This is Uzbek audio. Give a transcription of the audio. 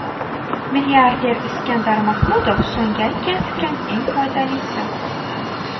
Milliarder Iskandar Mahmudov: So‘nggi aytgan fikrim eng foydalisi.